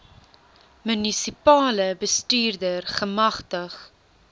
munisipale bestuurder gemagtig